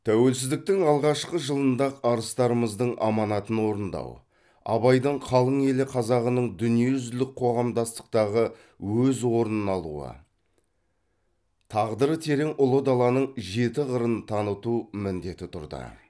тәуелсіздіктің алғашқы жылында ақ арыстарымыздың аманатын орындау абайдың қалың елі қазағының дүниежүзілік қоғамдастықтағы өз орнын алуы тағдыры терең ұлы даланың жеті қырын таныту міндеті тұрды